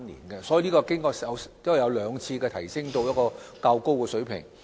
經過兩次修訂，罰則已提升至較高水平。